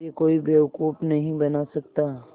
मुझे कोई बेवकूफ़ नहीं बना सकता